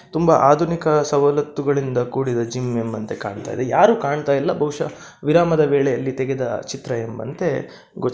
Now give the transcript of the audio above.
ತುಂಬ ಆಧುನಿಕ ಸವಲತ್ತುಗಳಿಂದ ಕೂಡಿದ ಜಿಮ್ ಎಂಬಂತೆ ಕಾಣ್ತಾಯಿದೆ ಯಾರು ಕಾಣ್ತಾ ಇಲ್ಲ ಬಹುಷ್ಯ ವಿರಾಮದ ವೇಳೆಯಲ್ಲಿ ತೆಗೆದ ಚಿತ್ರ ಎಂಬಂತೆ ಗೋಚ --